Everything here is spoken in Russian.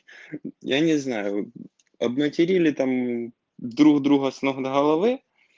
я не знаю обматерили там друг друга с ног до головы